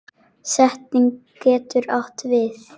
Setning getur átt við